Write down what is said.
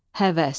Həvəs.